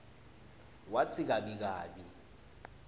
watsi gabi gabi